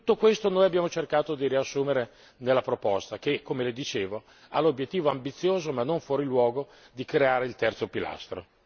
Tutto questo noi abbiamo cercato di riassumere nella proposta che, come le dicevo, ha l'obiettivo ambizioso ma non fuori luogo di creare il terzo pilastro.